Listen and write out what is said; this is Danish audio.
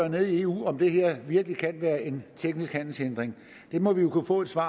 nede i eu om det her virkelig kan være en teknisk handelshindring det må vi jo kunne få et svar